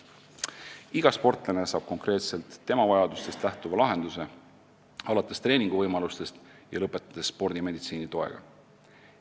Iga sportlane saab konkreetselt tema vajadustest lähtuva lahenduse, alates treeninguvõimalustest ja lõpetades spordimeditsiini toega.